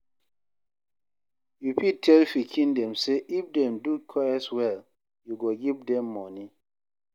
You fit tell pikin dem sey if dem do chores well you go give dem money